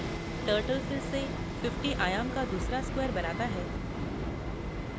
turtle फिरसे 50 आयाम का दूसरा square बनाता है